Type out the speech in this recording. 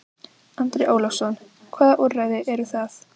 Andri Ólafsson: Hvaða úrræði eru það?